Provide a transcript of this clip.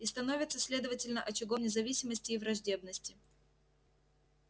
и становится следовательно очагом независимости и враждебности